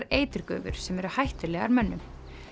eiturgufur sem eru hættulegar mönnum